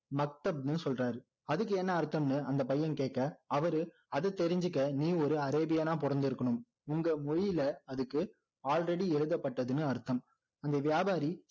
மக்தப்னு சொல்றாரு அதுக்கு என்ன அர்த்தம்னு அந்த பையன் கேட்க அவரு அதை தெரிஞ்சுக்க நீ ஒரு அரேபியனா பிறந்து இருக்கணும் உங்க மொழியில அதுக்கு already எழுதப்பட்டதுன்னு அர்த்தம் அந்த வியாபாரி